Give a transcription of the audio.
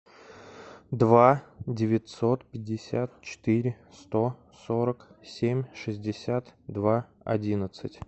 два девятьсот пятьдесят четыре сто сорок семь шестьдесят два одиннадцать